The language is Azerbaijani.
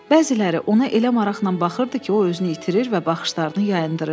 Bəziləri ona elə maraqla baxırdı ki, o özünü itirir və baxışlarını yayındırırdı.